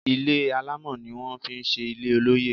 Ilé alámọ̀ ni wón fi ṣe ilé olóyè.